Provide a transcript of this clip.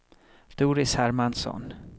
Doris Hermansson